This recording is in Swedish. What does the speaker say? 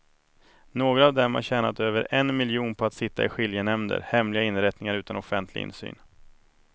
Några av dem har tjänat över en miljon på att sitta i skiljenämnder, hemliga inrättningar utan offentlig insyn.